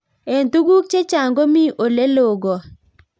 Eng tuguk chechang komii oleloo kot